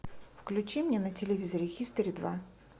включи мне на телевизоре хистори два